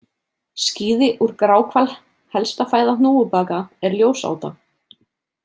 Skíði úr gráhval Helsta fæða hnúfubaka er ljósáta.